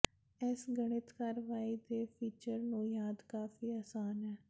ਇਸ ਗਣਿਤ ਕਾਰਵਾਈ ਦੇ ਫੀਚਰ ਨੂੰ ਯਾਦ ਕਾਫ਼ੀ ਆਸਾਨ ਹੈ